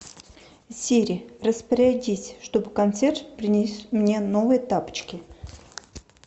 сири распорядись чтобы консьерж принес мне новые тапочки